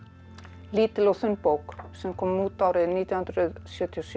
lítil og þunn bók sem kom út árið nítján hundruð sjötíu og sjö